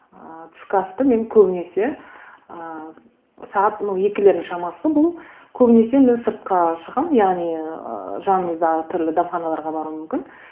ыыы түскі асты мен көбінесе ыыы сағат ну екілердің шамасы бұл көбінесе мен сыртқа шығамын яғни ы жанымыздағы түрлі дәмханаларға баруым мүмкін